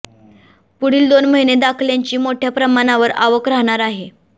पुढील दोन महिने दाखल्यांची मोठ्या प्रमाणावर आवक राहणार आहे